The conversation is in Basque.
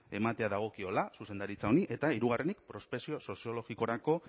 ematea dagokiola zuzendaritza honi eta hirugarrenik prospekzio soziologikorako